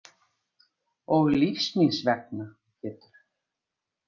Og lífs míns vegna Pétur.